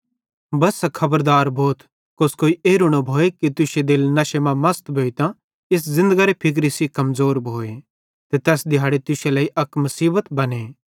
बस्सा खबरदार भोथ कोस्कोई एरू न भोए कि तुश्शो दिल नशे मां मसत भोइतां इस ज़िन्दगरे फिक्रे सेइं कमज़ोर भोए ते तैस दिहाड़े तुश्शे लेइ अक मुसीबत बने